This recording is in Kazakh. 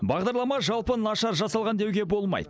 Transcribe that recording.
бағдарлама жалпы нашар жасалған деуге болмайды